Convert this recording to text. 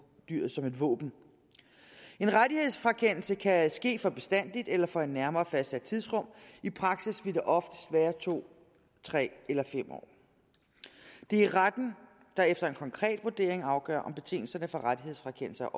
dyret som et våben en rettighedsfrakendelse kan ske for bestandigt eller for et nærmere fastsat tidsrum i praksis vil det oftest være to tre eller fem år det er retten der efter en konkret vurdering afgør om betingelserne for rettighedsfrakendelse